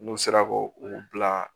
N'u sera k'o u bila